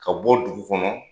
Ka bɔ dugu kɔnɔ